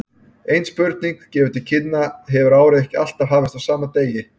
Eins og spurningin gefur til kynna hefur árið ekki alltaf hafist á sama degi.